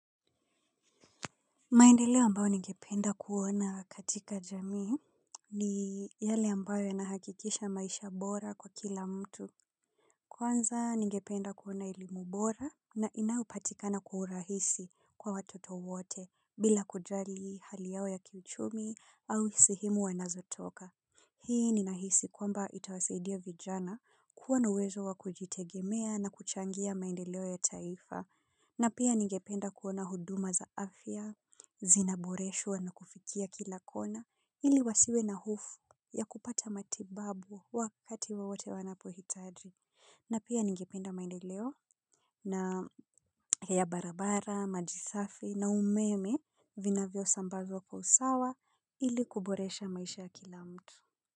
Maendeleo ambayo ningependa kuona katika jamii ni yale ambayo yanahakikisha maisha bora kwa kila mtu. Kwanza ningependa kuona elimu bora na inayopatikana kwa urahisi kwa watoto wote bila kujali hali yao ya kichumi au sehemu wanazotoka. Hii ninahisi kwamba itawasaidia vijana kuwa na uwezo wa kujitegemea na kuchangia maendeleo ya taifa. Na pia ningependa kuona huduma za afya, zinaboreshwa na kufikia kila kona, ili wasiwe na hofu ya kupata matibabu wakati wowote wanapohitaji. Na pia ningependa maendeleo na ya barabara, maji safi na umeme vinavyo sambavyo kwa usawa ili kuboresha maisha kila mtu.